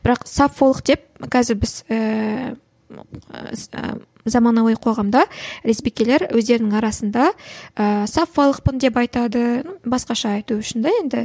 бірақ саффолық деп қазір біз заманауи қоғамда лесбикелер өздерінің арасында ііі саффолықпын деп айтады басқаша айту үшін де енді